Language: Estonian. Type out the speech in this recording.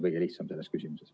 Henn Põlluaas, palun!